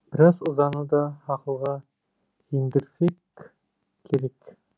біраз ызаны да ақылға жеңдірсек керек